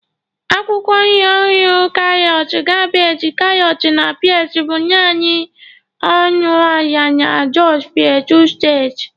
Akwụkwọ nri ọhụrụ karịsịa kabeeji, karọt na peas bụ naanị ọnụ ala na Jos plateau steeti.